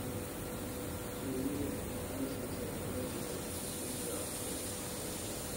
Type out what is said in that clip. Shinnidu waxay siisaa rootiga shinnida cuntada.